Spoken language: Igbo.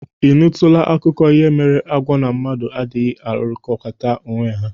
Ị nụtụla akụkụ ihe mere agwọ na mmadụ adịghị alụrịkọtakwa onwe ha?